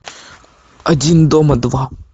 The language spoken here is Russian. один дома два